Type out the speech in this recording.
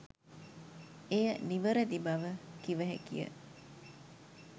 එය නිවැරදි බව කිව හැකිය.